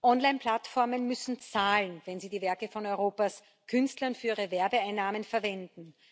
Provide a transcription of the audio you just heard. Online Plattformen müssen zahlen, wenn sie die Werke von Europas Künstlern für ihre Werbeeinnahmen verwenden.